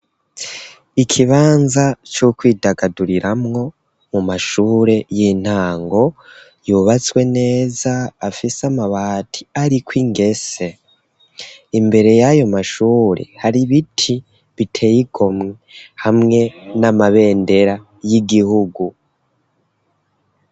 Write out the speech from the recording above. Ikibanza co kwidagaduriramwo mu mashure y'intango, yubatswe neza afise amabati ariko ingese, imbere yayo mashure hari ibiti biteye igomwe, hamwe n'amabendera y'Igihugu.